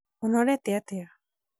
ũnorete atĩa?